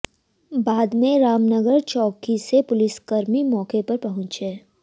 बाद में रामनगर चौकी से पुलिसकर्मी मौके पर पहुंचे